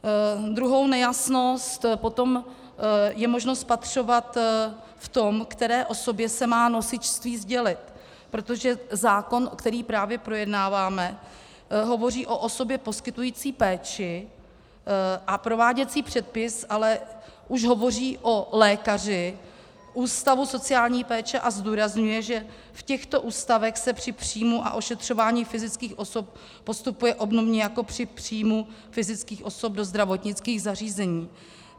Druhou nejasnost potom je možno spatřovat v tom, které osobě se má nosičství sdělit, protože zákon, který právě projednáváme, hovoří o osobě poskytující péči, a prováděcí předpis ale už hovoří o lékaři ústavu sociální péče a zdůrazňuje, že v těchto ústavech se při příjmu a ošetřování fyzických osob postupuje obdobně jako při příjmu fyzických osob do zdravotnických zařízení.